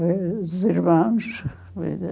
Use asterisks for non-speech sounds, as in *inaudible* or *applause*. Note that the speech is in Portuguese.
*unintelligible* Os irmãos, vida.